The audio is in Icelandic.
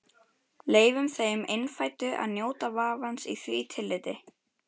Leyfum þeim innfæddu að njóta vafans í því tilliti.